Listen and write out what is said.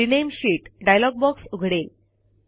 rename sheet dialog box उघडेल